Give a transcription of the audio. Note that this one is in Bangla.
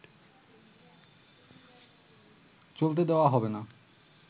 চলতে দেওয়া হবে না